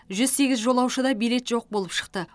жүз сегіз жолаушыда билет жоқ болып шықты